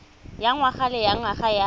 ya ngwaga le ngwaga ya